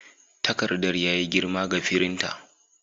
Takardar ya yi girma ga firinta.